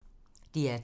DR2